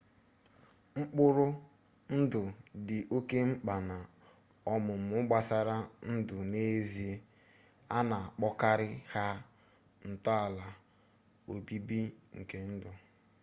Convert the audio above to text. mkpụrụ ndụ dị oke mkpa na ọmụmụ gbasara ndụ n'ezie a na-akpọkarị ha ntọala obibi nke ndụ